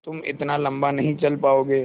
तुम इतना लम्बा नहीं चल पाओगे